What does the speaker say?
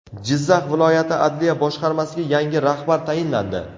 Jizzax viloyati adliya boshqarmasiga yangi rahbar tayinlandi.